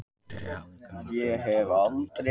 Fyrri hálfleikurinn var fremur tíðindalítill